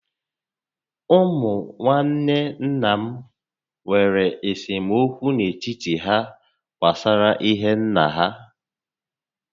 Ụmụ nwanne nna m nwèrè esemokwu n'etiti há gbásárá ihe nnà ha